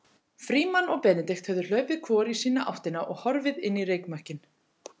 Frímann og Benedikt höfðu hlaupið hvor í sína áttina og horfið inn í reykmökkinn.